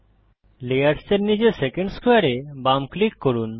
layers এর নীচে second স্কোয়ারে এ বাম ক্লিক করুন